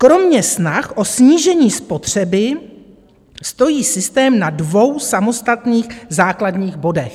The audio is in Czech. Kromě snah o snížení spotřeby stojí systém na dvou samostatných základních bodech.